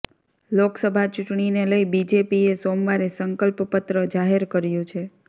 લોકસભા ચૂંટણીને લઈ બીજેપીએ સોમવારે સંકલ્પ પત્ર જાહેર કર્યું છે